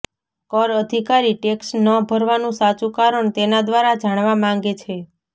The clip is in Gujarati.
કર અધિકારી ટેક્ષ ન ભરવાનું સાચુ કારણ તેના દ્વારા જાણવા માંગે છે